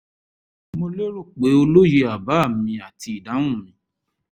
mo lérò pé o lóye àbá mi àti ìdáhùn mi